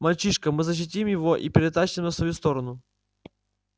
мальчишка мы защитим его и перетащим на сторону